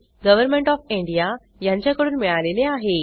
government of India यांच्याकडून मिळालेले आहे